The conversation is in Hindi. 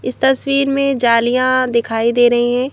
इस तस्वीर में जालियां दिखाई दे रही हैं ।